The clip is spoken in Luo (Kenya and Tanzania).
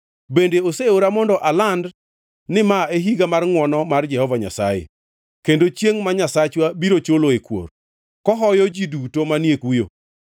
Bende oseora mondo aland ni ma e higa mar ngʼwono mar Jehova Nyasaye, kendo chiengʼ ma Nyasachwa biro chuloe kuor, kohoyo ji duto manie kuyo,